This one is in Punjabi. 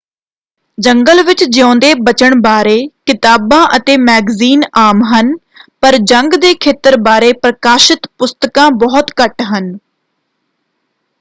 ਜੰਗਲ ਵਿੱਚ ਜਿਊਂਦੇ ਬਚਣ ਬਾਰੇ ਕਿਤਾਬਾਂ ਅਤੇ ਮੈਗਜ਼ੀਨ ਆਮ ਹਨ ਪਰ ਜੰਗ ਦੇ ਖੇਤਰ ਬਾਰੇ ਪ੍ਰਕਾਸ਼ਿਤ ਪੁਸਤਕਾਂ ਬਹੁਤ ਘੱਟ ਹਨ।